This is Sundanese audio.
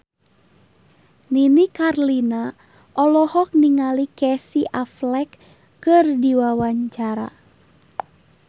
Nini Carlina olohok ningali Casey Affleck keur diwawancara